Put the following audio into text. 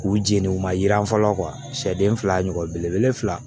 K'u jeni u ma jiran fɔlɔ sɛden fila ɲɔgɔn belebele fila